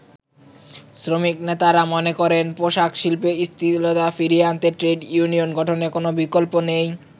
শ্রমিক নেতারা মনে করেন পোশাকশিল্পে স্থিতিশীলতা ফিরিয়ে আনতে ট্রেড ইউনিয়ন গঠনের কোন বিকল্প নেই।